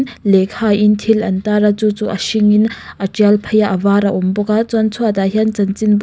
lehkhain thil an tar a chu chu a hringin a tial phei a a var a awm bawk a chuan chhuatah hian chanchinbu--